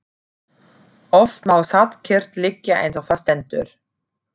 Oft má satt kyrrt liggja eins og þar stendur.